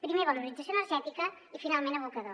primer valorització energètica i finalment abocador